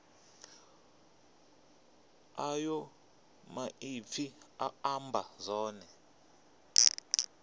ayo maipfi a amba zwone